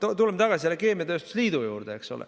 Tuleme tagasi keemiatööstuse liidu juurde.